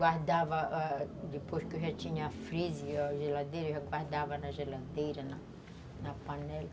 Guardava, ãh, depois que eu já tinha freezer, a geladeira, eu guardava na geladeira, na panela.